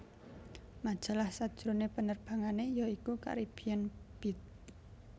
Majalah sajrone penerbangane ya iku Caribbean Beat